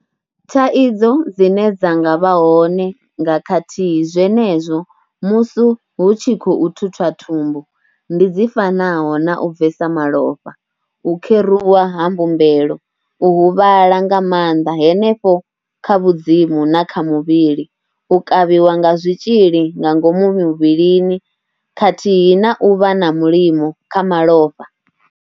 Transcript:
Thaidzo dzine dza nga vha hone nga khathihi zwenezwo musu hu tshi khou thuthwa thumbu ndi dzi fanaho na u bvesa malofha, u kheruwa ha mbumbelo, u huvhala nga maanḓa henefho kha vhu dzimu na kha muvhili, u kavhiwa nga zwitzhili nga ngomu muvhilini khathihi na u vha na mulimo kha malofha.